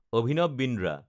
Abhinav Bindra